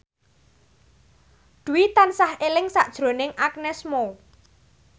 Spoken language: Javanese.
Dwi tansah eling sakjroning Agnes Mo